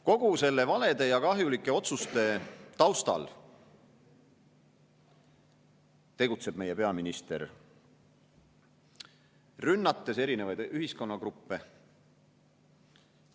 Kõigi nende valede ja kahjulike otsuste taustal tegutseb meie peaminister, rünnates erinevaid ühiskonnagruppe.